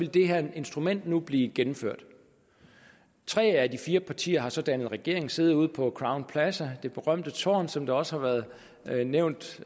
det her instrument nu ville blive gennemført tre af de fire partier har så dannet regering siddet ude på crown plaza det berømte tårn som det også har været nævnt